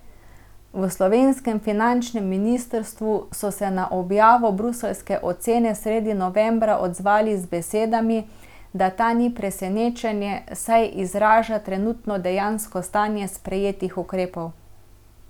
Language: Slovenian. V slovenskem finančnem ministrstvu so se na objavo bruseljske ocene sredi novembra odzvali z besedami, da ta ni presenečenje, saj izraža trenutno dejansko stanje sprejetih ukrepov.